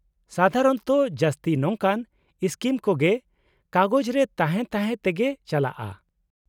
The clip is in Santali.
-ᱥᱟᱫᱷᱟᱨᱚᱱᱛᱚ ᱡᱟᱹᱥᱛᱤ ᱱᱚᱝᱠᱟᱱ ᱥᱠᱤᱢ ᱠᱚ ᱜᱮ ᱠᱟᱜᱚᱡᱨᱮ ᱛᱟᱦᱮᱸ ᱛᱟᱦᱮᱸ ᱛᱮᱜᱮ ᱪᱟᱞᱟᱜᱼᱟ ᱾